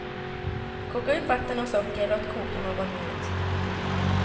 Koka upp vatten och socker och låt koka någon minut.